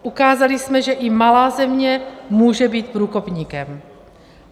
Ukázali jsme, že i malá země může být průkopníkem.